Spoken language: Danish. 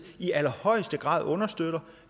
i allerhøjeste grad understøtter